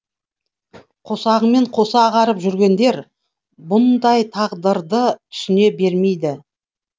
қосағымен қоса ағарып жүргендер бұндай тағдырды түсіне бермейді